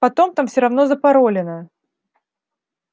потом там всё равно запаролено